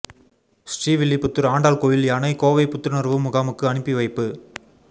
ஸ்ரீவில்லிபுத்தூா் ஆண்டாள் கோயில் யானை கோவை புத்துணா்வு முகாமுக்கு அனுப்பி வைப்பு